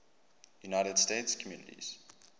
united states communities